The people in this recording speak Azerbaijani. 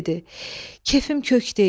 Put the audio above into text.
Kefim kök deyil.